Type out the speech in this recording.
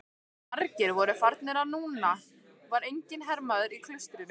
Margir voru farnir og núna var enginn hermaður í klaustrinu.